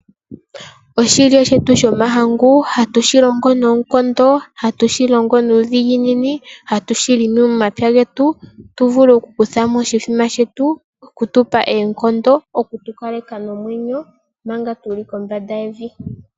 Oshilya shetu shomahangu hatu shilongo noonkondo, hatu shilongo nuudhiginini, hatushi longo momapya getu tuvule okukuthamo oshithima shetu shoku tukaleka nomwenyo manga tuli kombanda yevi.